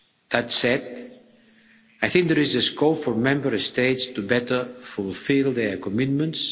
That said, I think there is scope for Member States to better fulfil their commitments.